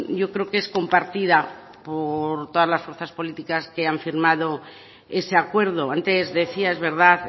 yo creo que es compartida por todas las fuerzas políticas que han firmado ese acuerdo antes decía es verdad